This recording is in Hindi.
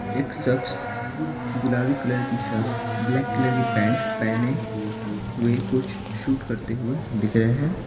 एक शख्स गुलाबी कलर की शर्ट ब्लैक कलर की पैंट पहने हुए कुछ शूट करते हुए दिख रहे हैं।